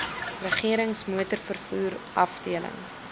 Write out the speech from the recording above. regerings motorvervoer afdeling